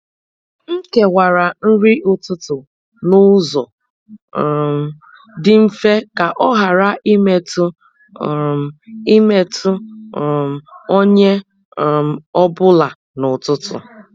M kewara nri ụtụtụ n’ụzọ um dị mfe ka ọ ghara imetụ um imetụ um onye um ọ bụla n’ụtụtụ.